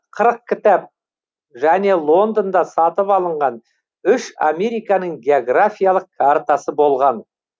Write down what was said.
қырық кітап және лондонда сатып алынған үш американың географиялық картасы болған